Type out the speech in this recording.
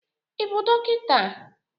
Ị bụ dọkịta?